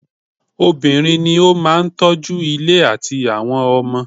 Obìnrin ní o máà tọ́ju ilé àtí àwọn ọmọ.